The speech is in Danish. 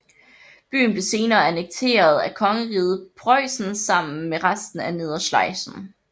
Byen blev senere annekteret af Kongeriget Preussen sammen med resten af Nedre Schlesien